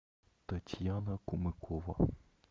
татьяна кумыкова